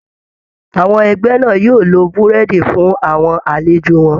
Àwọn ẹgbẹ́ náà yóò lo Búrẹ́dì fún àwọn àlejò wọn